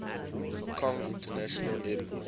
kong international airport